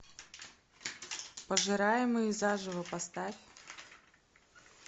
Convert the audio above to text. пожираемые заживо поставь